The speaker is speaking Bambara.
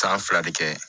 San fila de kɛ